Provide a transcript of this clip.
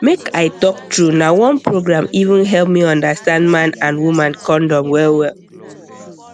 make i talk true na one program even help me understand man and woman condom wellwell